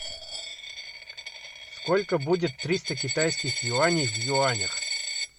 сколько будет триста китайских юаней в юанях